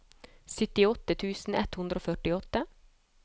syttiåtte tusen ett hundre og førtiåtte